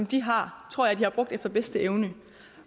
de har efter bedste evne